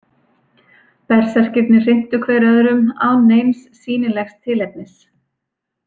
Berserkirnir hrintu hver öðrum án neins sýnilegs tilefnis.